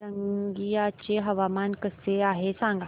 रंगिया चे हवामान कसे आहे सांगा